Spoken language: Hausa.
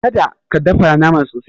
Kada ka dafa naman sosai.